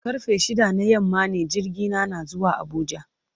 Karfe shida na yamma ne jirgina na zuwa Abuja.